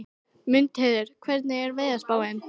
Mundheiður, hvernig er veðurspáin?